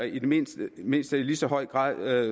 i mindst mindst lige så høj grad